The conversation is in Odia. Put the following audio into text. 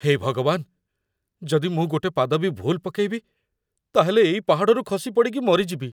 ହେ ଭଗବାନ, ଯଦି ମୁଁ ଗୋଟେ ପାଦ ବି ଭୁଲ୍ ପକେଇବି, ତା'ହେଲେ ଏଇ ପାହାଡ଼ରୁ ଖସି ପଡ଼ିକି ମରିଯିବି ।